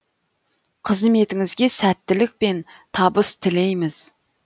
қызметіңізге сәттілік пен табыс тілейміз